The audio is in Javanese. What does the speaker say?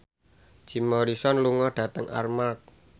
Jim Morrison lunga dhateng Armargh